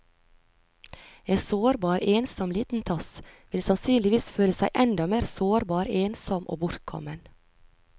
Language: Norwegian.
En sårbar, ensom liten tass vil sannsynligvis føle seg enda mer sårbar, ensom og bortkommen.